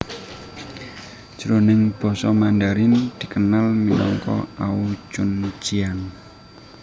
Jroning basa Mandarin dikenal minangka ao chun jiang